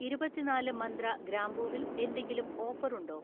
ഇരുപത്തിനാല് മന്ത്ര ഗ്രാമ്പൂവിൽ എന്തെങ്കിലും ഓഫർ ഉണ്ടോ?